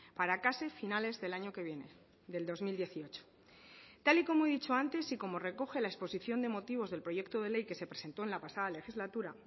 para casi finales del año que viene del dos mil dieciocho tal y como he dicho antes y como recoge la exposición de motivos del proyecto de ley que se presentó en la pasada legislatura